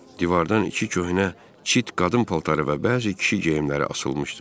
Divardan iki köhnə cırt qadın paltarı və bəzi kişi geyimləri asılmışdı.